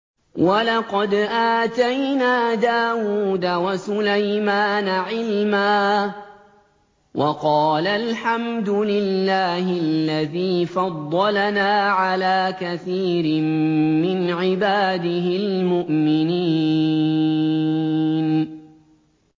وَلَقَدْ آتَيْنَا دَاوُودَ وَسُلَيْمَانَ عِلْمًا ۖ وَقَالَا الْحَمْدُ لِلَّهِ الَّذِي فَضَّلَنَا عَلَىٰ كَثِيرٍ مِّنْ عِبَادِهِ الْمُؤْمِنِينَ